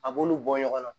A b'olu bɔ ɲɔgɔn na